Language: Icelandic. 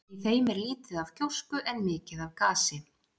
Í þeim er lítið af gjósku en mikið af gasi.